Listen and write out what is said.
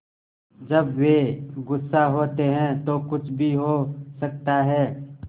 जब वे गुस्सा होते हैं तो कुछ भी हो सकता है